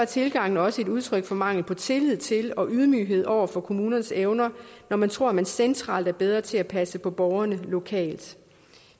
tilgangen også et udtryk for mangel på tillid til og ydmyghed over for kommunernes evner når man tror man centralt er bedre til at passe på borgerne lokalt